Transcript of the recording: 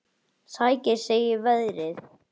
Sækir í sig veðrið.